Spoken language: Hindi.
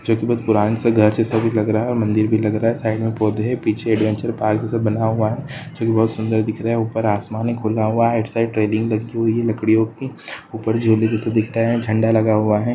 जो की बहुत पुराना सा घर जैसा भी लग रहा है और मंदिर भी लग रहा है साइड में पौधें हैं पीछे एडवेंचर पार्क जैसा भी बना हुआ है जो की बहुत सुंदर दिख रहा है ऊपर आसमान है खुला हुआ राइट साइड ट्रेडिंग लटकी हुई है लकड़ियों की ऊपर झोले जैसा दिख रहा है झंडा लगा हुआ है।